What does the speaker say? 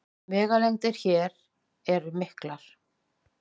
Vegalengdir hér eru miklar